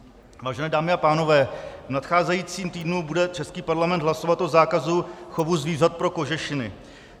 Vážené dámy a pánové, v nadcházejícím týdnu bude český parlament hlasovat o zákazu chovu zvířat pro kožešiny.